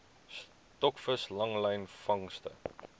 stokvis langlyn vangste